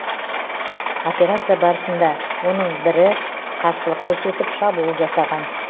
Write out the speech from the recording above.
операция барысында оның бірі қарсылық көрсетіп шабуыл жасаған